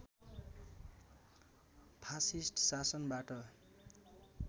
fascist शासनबाट